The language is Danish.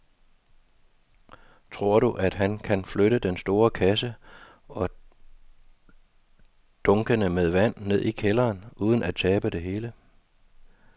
Tror du, at han kan flytte den store kasse og dunkene med vand ned i kælderen uden at tabe det hele?